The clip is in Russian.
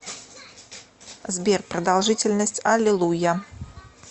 сбер продолжительность алилуйя